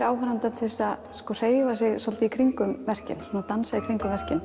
áhorfandann til þess að hreyfa sig svolítið í kringum verkin dansa í kringum verkin